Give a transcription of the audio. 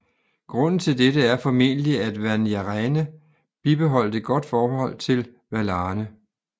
Grunden til dette er formentlig at Vanyarene bibeholdt et godt forhold til Valarne